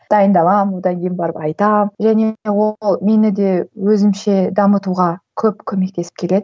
дайындаламын одан кейін барып айтамын және де ол мені де өзімше дамытуға көп көмектесіп келеді